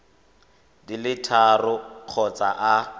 di le tharo kgotsa a